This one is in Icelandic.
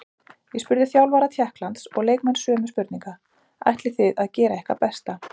Ég spurði þjálfara Tékklands og leikmenn sömu spurninga: Ætlið þið að gera ykkar besta?